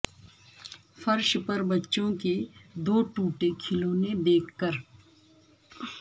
فرش پر بچوں کے دو ٹوٹے کھلونے دیکھ کر